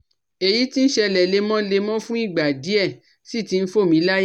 Èyí tí ń ṣẹlẹ̀ lemọ́lemọ́ fún ìgbà díẹ̀ ́ sì ti ń fò mí láyà